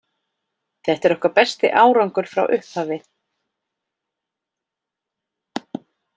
Þetta er okkar besti árangur frá upphafi.